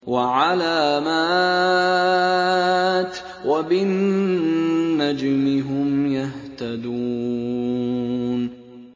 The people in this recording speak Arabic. وَعَلَامَاتٍ ۚ وَبِالنَّجْمِ هُمْ يَهْتَدُونَ